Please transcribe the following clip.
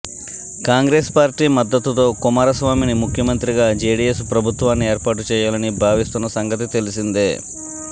Congress party మద్దతుతో కుమారస్వామిని ముఖ్యమంత్రిగా జెడిఎస్ ప్రభుత్వాన్ని ఏర్పాటుచేయాలని భావిస్తున్న సంగతి తెలిసిందే